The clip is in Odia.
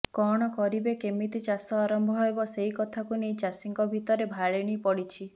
କଣ କରିବେ କେମିତି ଚାଷ ଆରମ୍ଭ ହେବ ସେଇ କଥାକୁ ନେଇ ଚାଷୀଙ୍କ ଭିତରେ ଭାଳେଣି ପଡ଼ିଛି